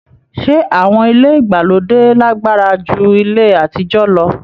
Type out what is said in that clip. Ṣé awọn ilé ìgbàlódé lagbara ju ilé àtijọ lọ?